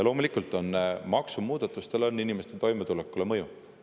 Loomulikult on maksumuudatustel inimeste toimetulekule mõju.